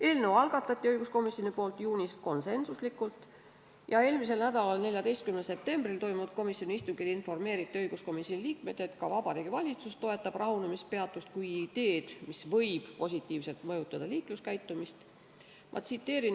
Eelnõu algatati õiguskomisjonis juunis ja eelmisel nädalal, 14. septembril toimunud komisjoni istungil informeeriti õiguskomisjoni liikmeid, et ka Vabariigi Valitsus toetab rahunemispeatust kui ideed, mis võib positiivselt mõjutada liikluskäitumist.